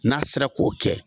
N'a sera k'o kɛ.